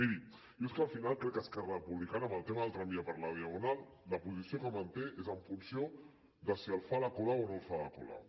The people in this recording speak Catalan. miri jo és que al final crec que esquerra republicana en el tema del tramvia per la diagonal la posició que manté és en funció de si el fa la colau o no el fa la colau